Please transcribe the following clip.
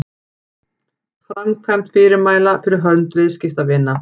Framkvæmd fyrirmæla fyrir hönd viðskiptavina.